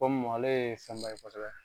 Komu ale kɔsɛbɛ